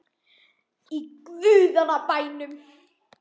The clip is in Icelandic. Í guðanna bænum.